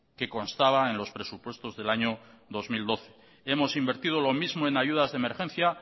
que constaba en los presupuestos del año dos mil doce hemos invertido lo mismo en ayudas de emergencia